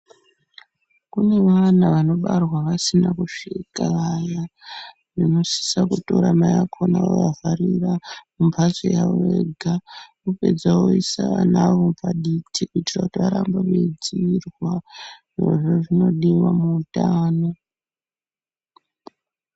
Kune vana vanobarwa vasina kusvika vaya , vanosisa kutora mai vakona vovavharira mumbatso yavo vega. Vapedza voisa vanavo paditi kuitira kuti varambe vachidzirwa. Izvozvo zvinodiwa muhutano.